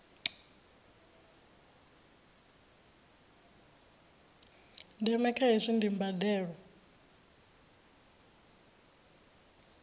ndeme kha hezwi ndi mbandelo